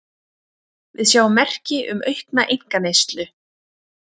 Við sjáum merki um aukna einkaneyslu